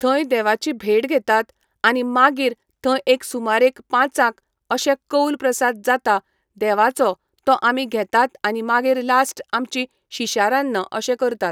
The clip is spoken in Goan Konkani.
थंय देवाची भेट घेतात आनी मागीर थंय एक सुमारेक पांचाक अशें कौल प्रसाद जाता देवाचो तो आमी घेतात आनी मागीर लास्ट आमची शिशारान्न अशें करतात